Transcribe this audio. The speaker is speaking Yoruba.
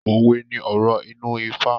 Owé ní ọ̀rọ̀ inú ifá.